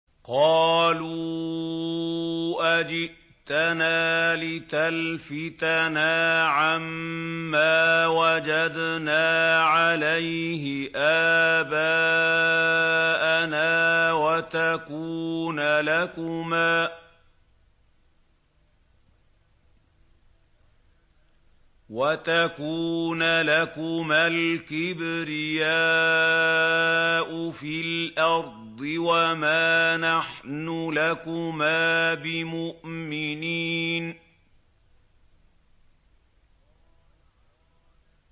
قَالُوا أَجِئْتَنَا لِتَلْفِتَنَا عَمَّا وَجَدْنَا عَلَيْهِ آبَاءَنَا وَتَكُونَ لَكُمَا الْكِبْرِيَاءُ فِي الْأَرْضِ وَمَا نَحْنُ لَكُمَا بِمُؤْمِنِينَ